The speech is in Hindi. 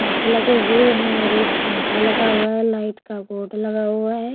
काँच लगे हुए है और एक पंखा लगा हुआ है लाइट का बोर्ड लगा हुआ हैं।